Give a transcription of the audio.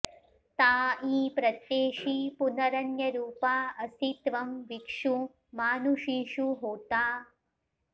ता ईं॒ प्रत्ये॑षि॒ पुन॑र॒न्यरू॑पा॒ असि॒ त्वं वि॒क्षु मानु॑षीषु॒ होता॑